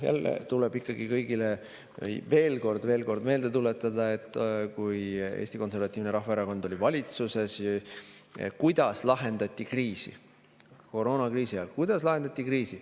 Jälle tuleb kõigile veel kord meelde tuletada, kuidas siis, kui Eesti Konservatiivne Rahvaerakond oli valitsuses, kriisi lahendati ja kuidas koroonakriisi ajal kriisi lahendati.